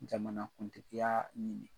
Jamanakuntigiya ɲini.